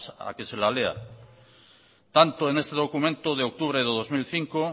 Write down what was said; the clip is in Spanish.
a que se la lea tanto en este documento de octubre de dos mil cinco